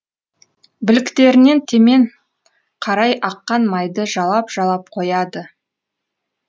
білектерінен темен қарай аққан майды жалап жалап қояды